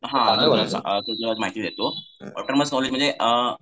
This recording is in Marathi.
हां तुला माहिती देतो म्हणजे